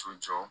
So jɔ